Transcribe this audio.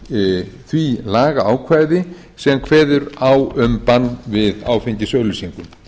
í því lagaákvæði sem kveður á um bann við áfengisauglýsingum